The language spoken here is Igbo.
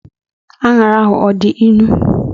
Anyara ahu ọdi ịnụ?